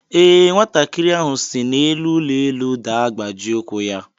Ee, nwatakịrị ahụ si n'elu ụlọ elu daa gbajie ụkwụ ya.